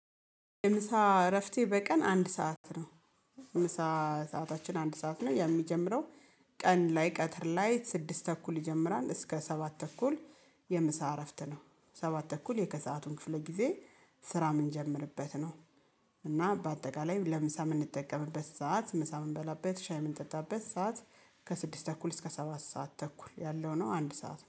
ምሳ እረፍቴ በቀን አንድ ሰዓት ነው። ምሳ ሰዓታችን አንድ ሰዓት ነው የሚጀምረው። ቀን ላይ ቀትር ላይ ስድስት ተኩል ይጀምራል እስከ ሰባት ተኩል። የምሳ እረፍት ነው። ሰባት ተኩል የከሰአቱን ክፍለ ጊዜ ስራ የምንጀምርበት ነው። እና በአጠቃላይ ለምሳ የምንጠቀምበት ሰዓት ምሳ ምንበላበት ሻይ ምንጠጣበት ሰዓት ከስድስት ተኩል እስከ ሰባት ሰዓት ተኩል ያለው ነው። አንድ ሰዓት